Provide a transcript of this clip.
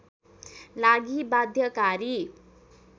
लागि बाध्यकारी